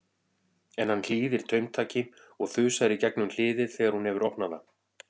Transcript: En hann hlýðir taumtaki og þusar í gegnum hliðið þegar hún hefur opnað það.